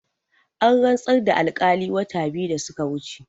An rantsar da alkali wata biyu da suka wuce